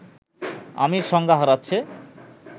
আমির সংজ্ঞা হারাচ্ছে